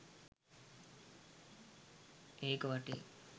ඒක වටේ